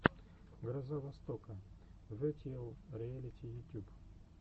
гроза востока ветьюэл риэлити ютюб